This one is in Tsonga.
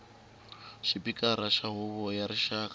xipikara xa huvo ya rixaka